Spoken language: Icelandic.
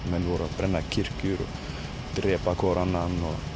menn voru að brenna kirkjur og drepa hver annan